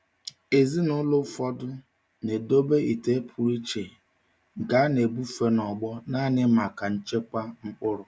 Ezinụlọ ụfọdụ na-edobe ite pụrụ iche nke a na-ebufe n'ọgbọ naanị maka nchekwa mkpụrụ.